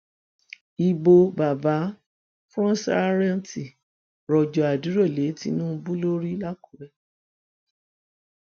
ibo bàbá fsọrántí rọjò àdúrà lé tinubu lórí làkùrẹ